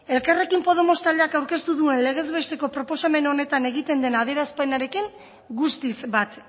elkarrekin podemos taldeak aurkeztu duen legez besteko proposamen honetan egiten den adierazpenarekin guztiz bat